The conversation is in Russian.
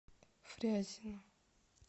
фрязино